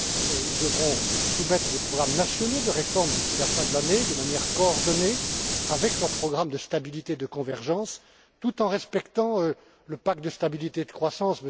Ceux ci devront soumettre des programmes nationaux de réformes d'ici la fin de l'année, de manière coordonnée, avec un programme de stabilité et de convergence, tout en respectant le pacte de stabilité et de croissance.